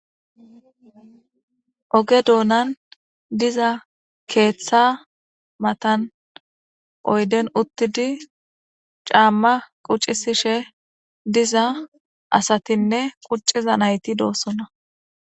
Oge doonan diza keththa matan oyden uttidi c'ama quc'isishe diza asatinne quc'iza nayti dosona.